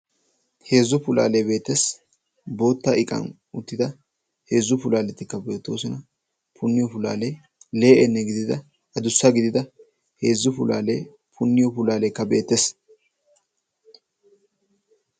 Heezzu pulaalee beettees bootta iqan uttida heezzu puulalettikka beettoosona. punniyoo pulaalee le'enne gidida adussa pulaalee punniyoo pulaaleekka beettees.